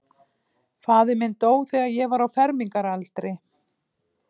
Faðir minn dó, þegar ég var á fermingaraldri.